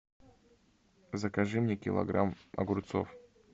закажи мне килограмм огурцов